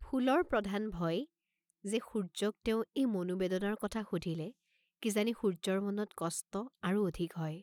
ফুলৰ প্ৰধান ভয়, যে সূৰ্য্যক তেওঁ এই মনোবেদনাৰ কথা সুধিলে কিজানি সূৰ্য্যৰ মনত কষ্ট আৰু অধিক হয়।